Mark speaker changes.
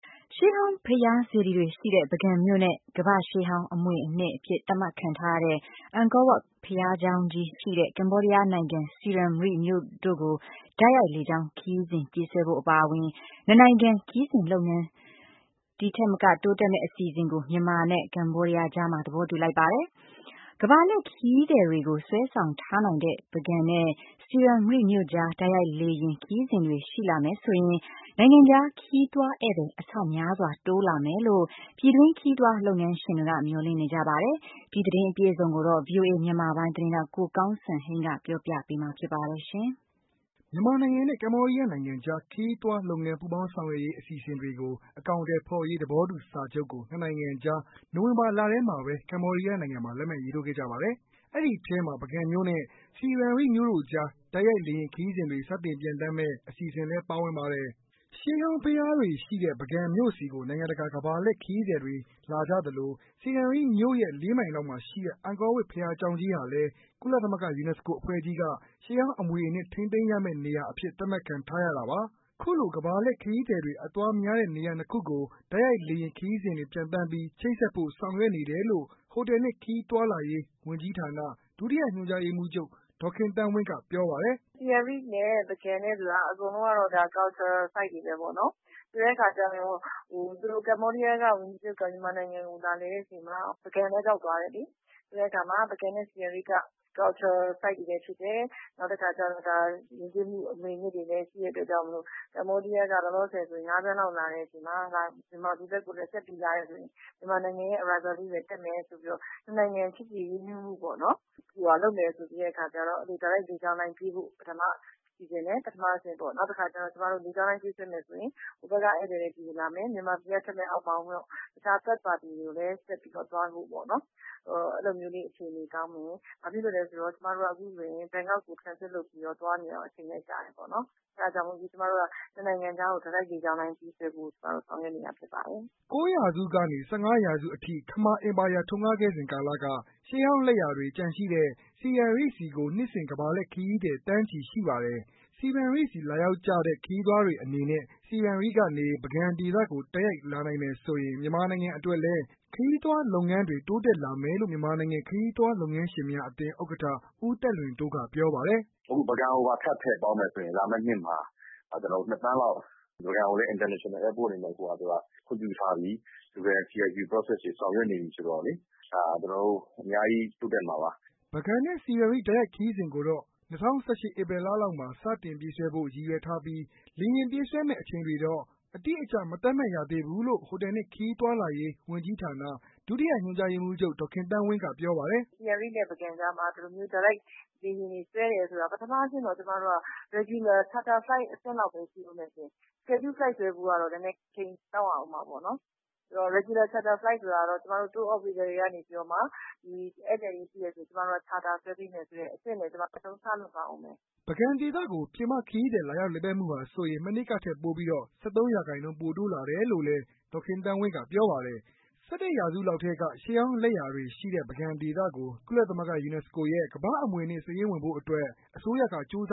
Speaker 1: ရှေးဟောင်း ဘုရား စေတီတွေရှိတဲ့ ပုဂံမြို့နဲ့ ကမ္ဘာ့ရှေးဟောင်း အမွေအနှစ် အဖြစ် သတ်မှတ်ခံထားရတဲ့ အန်ကောဝပ်ဘုရားကျောင်းကြီးရှိတဲ့ ကမ္ဘောဒီးယားနိုင်ငံ ဆီရမ်ရိ(ပ်)မြို့တို့ကို တိုက်ရိုက်လေကြောင်းခရီးစဉ်ပြေးဆွဲဖို့ အပါအဝင် ၂ နိုင်ငံ ခရီးသွားလုပ်ငန်းတိုးတက်စေမယ့် အစီအစဉ်တွေကို မြန်မာနဲ့ ကမ္ဘောဒီယားကြားမှာ သဘောတူလိုက်ပါတယ်။ ကမ္ဘာလှည့်ခရီးသည်တွေကို စွဲဆောင်ထားနိုင်တဲ့ ပုဂံနဲ့ ဆီရမ်ရိ(ပ်) မြို့ကြား တိုက်ရိုက်လေယာဉ် ခရီးစဉ်တွေ ရှိလာမယ်ဆိုရင် နိုင်ငံခြား ခရီးသွား ဧည့်သည် အဆများစွာ တိုးလာမယ်လို့ ပြည်တွင်းခရီးသွား လုပ်ငန်းရှင်တွေက မျှော်လင့်နေကြပါတယ်။အပြည့်အစုံကိုတော့ ကိုကောင်းစံဟိန်းကပြောပြပေးမှာပါ။
Speaker 2: မြန်မာနိုင်ငံနဲ့ ကမ္ဘောဒီယားနိုင်ငံကြား ခရီးသွားလုပ်ငန်း ပူးပေါင်းဆောင်ရွက်ရေး အစီအစဉ်တွေ အကောင်အထည်ဖော်ရေး သဘောတူစာချုပ်ကို ၂ နိုင်ငံကြား နိုဝင်ဘာ ၂၃ ရက်နေ့က ကမ္ဘောဒီယားနိုင်ငံမှာ လက်မှတ်ရေးထိုးခဲ့ကြပါတယ်။ အဲဒီထဲမှာ ပုဂံမြို့နဲ့ ဆီရမ်ရိ(ပ်) မြို့တို့ကြား တိုက်ရိုက်လေယာဉ်ခရီးစဉ်တွေ စတင်ပျံသန်းမယ့် အစီအစဉ်လည်းပါဝင်ပါတယ်။ ရှေးဟောင်း ဘုရားတွေရှိတဲ့ ပုဂံမြို့ဆီကို နိုင်ငံတကာကမ္ဘာလှည့်ခရီးသည်တွေ လာကြသလို ဆီရမ်ရိ(ပ်) မြို့ရဲ့ ၄ မိုင်လောက်မှာရှိတဲ့ အန်ကောဝပ်ရှေးဟောင်း ဘုရားကျောင်းကြီးဟာလည်း ကုလသမဂ္ဂ UNESCO အဖွဲ့ကြီးက ရှေးဟောင်း အမွေအနှစ်ထိန်းသိမ်းရမယ့် နေရာအဖြစ် သတ်မှတ်ခံထားရတာပါ။ အခုလိုကမ္ဘာလှည့် ခရီးသည်တွေအသွားများတဲ့ နေရာ ၂ ခုကို တိုက်ရိုက်လေယာဉ် ခရီးစဉ်တွေပျံသန်းပြီး ချိတ်ဆက်ဖို့ဆောင်ရွက်နေတယ်လို့ ဟိုတယ်နဲ့ခရီးသွားလာရေး ဝန်ကြီးဌာန ဒုတိယညွှန်ကြားရေးမှူးချုပ် ဒေါ်ခင်သန်းဝင်းကပြောပါတယ်။
Speaker 3: "ဆီရမ်ရိ(ပ်) နဲ့ပုဂံကတော့ အကုန်လုံးကတော့ Culture Sites တွေပဲပေါ့နော် ဆိုတဲ့အခါကျတော့ ကမ္ဘောဒီးယားဝန်ကြီးချုပ် မြန်မာနိုင်ငံကို လာလည်တဲ့အချိန်မှာ ပုဂံလည်း ရောက်သွားတယ်လေ ဆိုတော့ ပုဂံနဲ့ဆီရမ်ရိပ်က Culture Sites တွေလည်းဖြစ်တယ် နောက် ယဉ်ကျေးမှုအမွေအနှစ်တွေလည်း ရှိတဲ့အတွက်ကြောင့်မို့လို့ ကမ္ဘောဒီးယားကို ငါးသန်းလောက် လာနေကြတဲ့အချိန်မှာ မြန်မာပြည်ဘက်ကိုလည်း ဆက်ပြီး လာမယ်ဆိုရင် မြန်မာနိုင်ငံအတွက်လည်း တက်မယ်ဆိုပြီးတော့ နှစ်နိုင်ငံ ချစ်ကြည်ရင်းနှီးမှု လုပ်မယ်ဆိုပြီးတော့ တိုက်ရိုက်လေကြောင်းလိုင်းပြေးဖို့ ပထမစီစဉ်တယ်။ ဒါက ပထမအဆင့်ပေါ့ နောက်တခါကျတော့ ကျမတို့ လေကြောင်းလိုင်းပြေးဆွဲမယ်ဆိုရင် ဟိုဘက်က ဧည့်သည်တွေ ဒီလာမယ် နောက် မြန်မာပြည်က ထွက်မယ့် တခြားဆက်သွားမယ့်သူ Third Party တွေအတွက်လည်း အခြေအနေကောင်းမယ်။ ဘာဖြစ်လို့လဲဆိုတော့ အခုဆိုရင် ကျမတို့က ဘန်ကောက်ကို Transit လုပ်သွားနေရတော့ အချိန်လည်း ကြာတယ် Costs လည်းများတယ်ပေါ့ အဲ့တာကြောင့်မို့လို့ နှစ်နိုင်ငံကြားကို တိုက်ရိုက်လေကြောင်းလိုင်းပြေးဆွဲဖို့ ကျမတို့ ဆောင်ရွက်နေတာဖြစ်ပါတယ်
Speaker 2: ။" ၉ ရာစုကနေ ၁၅ ရာစုအထိ ခမာအင်ပါယာထွန်းကားခဲ့စဉ်ကာလက ရှေးဟောင်း လက်ရာတွေ ကျန်ရှိတဲ့ ဆီရမ်(ပ်)ဆီကို နှစ်စဉ် ကမ္ဘာလှည့် ခရီးသည် သန်းချီရှိပါတယ်။ ဆီရမ်ရိ(ပ်)ဆီ လာရောက်ကြတဲ့ ခရီးသွားတွေအနေနဲ့ ဆီရမ်ရီ(ပ်)ကနေ ပုဂံဒေသကို တိုက်ရိုက်လာနိုင်မယ်ဆိုရင် မြန်မာနိုင်ငံအတွက်လည်း ခရီးသွားလုပ်ငန်းတွေ တိုးတက်လာမယ်လို့ မြန်မာနိုင်ငံ ခရီးသွားလုပ်ငန်းရှင်များအသင်း ဥက္ကဋ္ဌ ဦးသက်လွင်တိုး ကပြောပါတယ်။ " အဲ့ဒီ့တော့ ပုဂံကိုပါ ထပ်ထည့်
Speaker 3: ပေါင်းမယ်ဆိုရင် လာမယ့်နှစ်မှာ နှစ်သန်းလောက် ပုဂံကိုလည်း International Airport အနေနဲ့ခွင့်ပြုထားပြီ ဆောင်ရွက်နေပြီဆိုတော့လေ ဒါ ကျနော်တို့ အမျာ
Speaker 2: းကြီးတိုးတက်မှာပါ။" ပုဂံ နဲ့ ဆီရမ်ရိ(ပ်)တိုက်ရိုက်ခရီးစဉ်ကိုတော့ ၂၀၁၈ ဧပြီလလောက်မှာသစတင်ပြေးဆွဲမှာဖို့ ရည်ရွယ်ထားပြီး လေယာဉ်ပြေးဆွဲမယ့်အချိန်တွေတော့ အတိအကျမသတ်မှတ်ရသေးဖူးလို့ ဟိုတယ်နဲ့ခရီးသွားလာရေး ဝန်ကြီးဌာန ဒုတိယညွှန်ကြားရေးမှူးချုပ် ဒေါ်ခင်သန်းဝင်း ကပြောပါတယ်။ "
Speaker 3: ဆိုတော့ ပုဂံ နဲ့ ဆီရမ်ရိ(ပ်) ကြားမှာ ဒီလိုမျိုး တိုက်ရိုက် လေယာဉ်တွေ ဆွဲတယ်ဆိုရင် ပထမအဆင့်တော့ ကျမတို့က Regular Charter Flight လောက် အဆင့်ပဲရှိဦးမယ်ရှင့်။ နည်းနည်းတော့ အချိန်စောင့်ရဦးမှာပေါ့နော်။ Regular Charter Flight ဆိုတာကတော့ တိုးအော်ပရေတာတွေကနေပြီးတော့မှ ဧည့်သည်တွေရှိမယ်ဆိုရင် ကျမတို့က Charter ဆွဲပေးမယ်ဆိုတဲ့ အဆင့်ကို ကျမတို့ အရင်ဆုံး စလုပ်ပါဦးမယ်
Speaker 2: ။" ပုဂံဒေသကို ပြင်ပခရီးသည်လာရောက်လာပတ်မှုဟာဆိုရင် မနှစ်ကထက်ပိုပီးတော့ ၁၃ရာခိုင်နှုန်း ပိုတိုးလာတယ်လို့လည်း ဒေါ်ခင်သန်းဝင်းကပြောပါတယ်။ ၁၁ ရာစုလောက် ထဲက ရှေးဟောင်းလက်ရာတွေရှိတဲ့ ပုဂံဒေသကို ကုလသမဂ္ဂ UNESCO ရဲ့ ကမ္ဘာ့အမွေအနှစ်စာရင်းဝင်ဖို့အတွက် အစိုးရကကြိုးစ